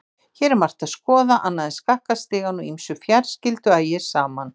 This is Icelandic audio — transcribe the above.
Hér er margt að skoða annað en skakka stigann og ýmsu fjarskyldu ægir saman.